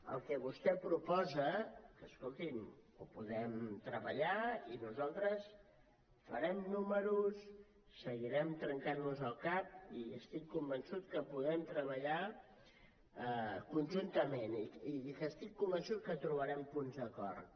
el que vostè proposa que escolti’m ho podem treballar i nosaltres farem números seguirem trencant nos el cap i estic convençut que podem treballar conjuntament i estic convençut que trobarem punts d’acord